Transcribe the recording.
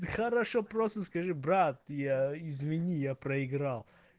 хорошо просто скажи брат я извини я проиграл